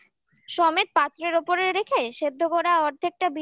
মাখিয়ে সমেত পাত্রের ওপরে রেখে সেদ্ধ করা অর্ধেকটা